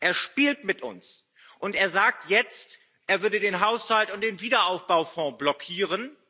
Er spielt mit uns, und er sagt jetzt, er würde den Haushalt und den Wiederaufbaufonds blockieren.